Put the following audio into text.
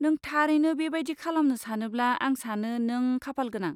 नों थारैनो बेबायदि खालामनो सानोब्ला आं सानो नों खाफालगोनां।